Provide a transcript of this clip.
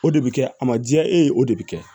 O de bɛ kɛ a ma diya e ye o de bɛ kɛ